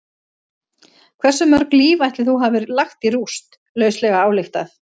Hversu mörg líf ætli þú hafir lagt í rúst, lauslega ályktað?